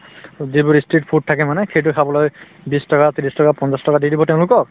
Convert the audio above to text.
যিবোৰ ই street food থাকে মানে সেইটোয়ে খাবলৈ বিশ টকা ত্ৰিশ টকা পঞ্চাশ টকা দি দিব তেওঁলোকক